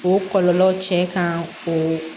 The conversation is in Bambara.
O kɔlɔlɔ cɛ kan o